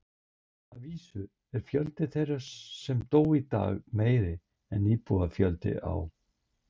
Að vísu er fjöldi þeirra sem dó í dag meiri en íbúafjöldi á